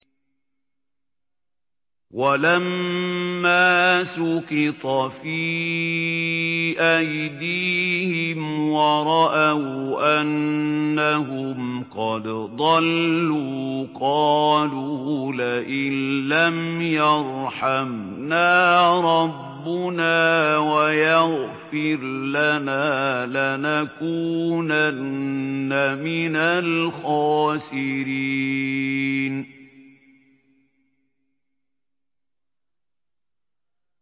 وَلَمَّا سُقِطَ فِي أَيْدِيهِمْ وَرَأَوْا أَنَّهُمْ قَدْ ضَلُّوا قَالُوا لَئِن لَّمْ يَرْحَمْنَا رَبُّنَا وَيَغْفِرْ لَنَا لَنَكُونَنَّ مِنَ الْخَاسِرِينَ